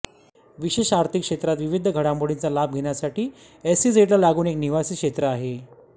विशेष आर्थिक क्षेत्रात विविध घडामोडींचा लाभ घेण्यासाठी एसईझेडला लागून एक निवासी क्षेत्र आहे